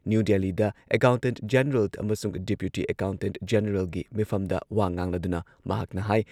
new ꯗꯦꯜꯂꯤꯗ accountant general ꯑꯃꯁꯨꯡ deputy accountant ꯖꯦꯅꯦꯔꯦꯜꯒꯤ ꯃꯤꯐꯝꯗ ꯋꯥ ꯉꯥꯡꯂꯗꯨꯅ ꯃꯍꯥꯛꯅ ꯍꯥꯢ